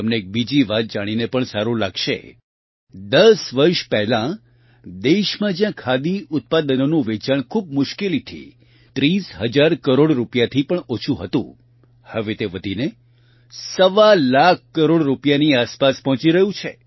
તમને એક બીજી વાત જાણીને પણ સારૂં લાગશે ૧૦ વર્ષ પહેલાં દેશમાં જ્યાં ખાદી ઉત્પાદનોનું વેચાણ ખૂબ મુશ્કેલીથી ૩૦ હજાર કરોડ રૂપિયાથી પણ ઓછું હતું હવે તે વધીને સવા લાખ કરોડ રૂપિયાની આસપાસ પહોંચી રહ્યું છે